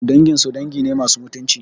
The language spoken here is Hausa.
Danginsu dangi ne masu mutunci